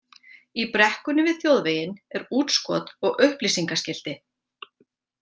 Í brekkunni við þjóðveginn er útskot og upplýsingaskilti.